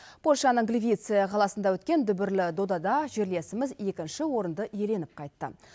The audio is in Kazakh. польшаның гливице қаласында өткен дүбірлі додада жерлесіміз екінші орынды иеленіп қайтты